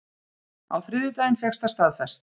Á þriðjudaginn fékkst það staðfest